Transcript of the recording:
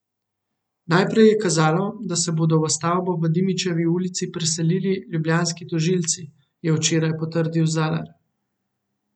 Najprej je kazalo, da se bodo v stavbo v Dimičevi ulici preselili ljubljanski tožilci, je včeraj potrdil Zalar.